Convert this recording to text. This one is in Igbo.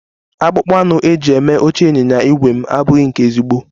Akpụkpọ anụ eji eme oche ịnyịnya ígwè m abụghị nke ezigbo